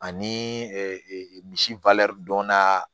Ani misi donna